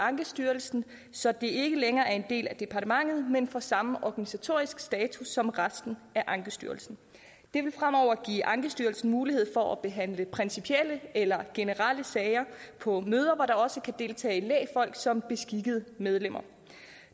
ankestyrelsen så det ikke længere er en del af departementet men får samme organisatoriske status som resten af ankestyrelsen det vil fremover give ankestyrelsen mulighed for at behandle principielle eller generelle sager på møder hvor der også kan deltage lægfolk som beskikkede medlemmer